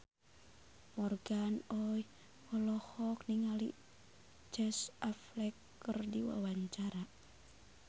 Morgan Oey olohok ningali Casey Affleck keur diwawancara